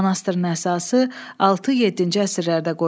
Manastırın əsası 6-7-ci əsrlərdə qoyulub.